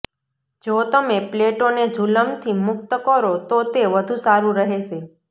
જો તમે પ્લેટોને જુલમથી મુકત કરો તો તે વધુ સારું રહેશે